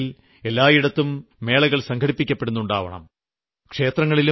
ഇനിവരുന്ന നാളുകളിൽ എല്ലായിടത്തും മേളകൾ സംഘടിപ്പിക്കപ്പെടുന്നുണ്ടാവും